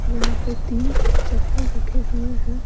यहां पे तीन चप्पल रखे हुए हैं।